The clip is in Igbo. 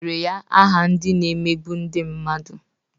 E wetara ya aha ndị na-emegbu ndị mmadụ.